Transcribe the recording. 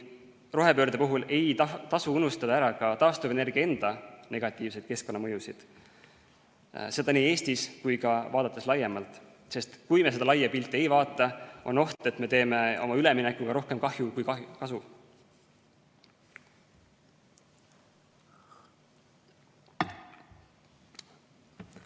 Rohepöörde puhul ei tasu unustada ära ka taastuvenergia enda negatiivseid keskkonnamõjusid, seda nii Eestis kui ka laiemalt, sest kui me seda laia pilti ei vaata, on oht, et me teeme oma üleminekuga rohkem kahju kui kasu.